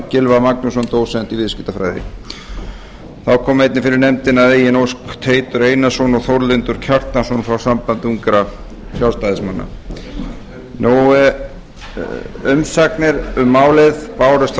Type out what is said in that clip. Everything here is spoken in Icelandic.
gylfa magnússon dósent í viðskiptafræði þá kom einnig fyrir nefndina að eigin ósk teitur einarsson og þórlindur kjartansson frá sambandi ungra sjálfstæðismanna umsagnir bárust um málið frá